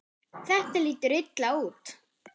Þetta lítur illa út.